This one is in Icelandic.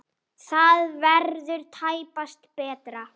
Það verður tæpast betra.